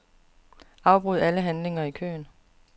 Afbryd alle handlinger i køen.